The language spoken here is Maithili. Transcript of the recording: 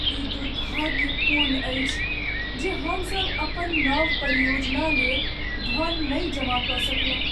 ई दुर्भाग्यपूर्ण अछि जे हमसब अपन नव परियोजना लेल धन नहि जमा कऽ सकलहुँ।